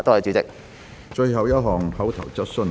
最後一項口頭質詢。